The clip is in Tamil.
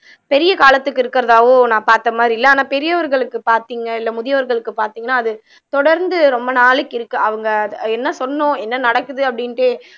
பெரிய காலத்துக்கு இருக்கிறதாவோ நான் பார்த்த மாதிரி இல்ல ஆனா பெரியவர்களுக்கு பார்த்தீங்க இல்ல முதியோர்களுக்கு பார்த்தீங்கன்னா அது தொடர்ந்து ரொம்ப நாளைக்கு இருக்கு அவங்க என்ன சொன்னோம் என்ன நடக்குது அப்படின்ட்டு